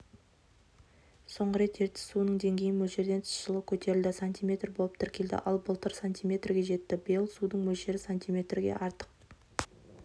соңғы рет ертіс суының деңгейі мөлшерден тыс жылы көтерілді сантиметр болып тіркелді ал былтыр сантиметрге жетті биыл судың мөлшері сантиметрге артық